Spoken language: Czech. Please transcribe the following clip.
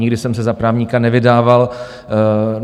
Nikdy jsem se za právníka nevydával.